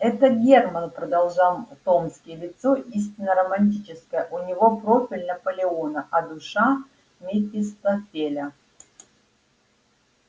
этот германн продолжал томский лицо истинно романтическое у него профиль наполеона а душа мефистофеля